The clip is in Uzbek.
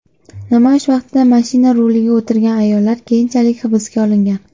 Namoyish vaqtida mashina ruliga o‘tirgan ayollar keyinchalik hibsga olingan.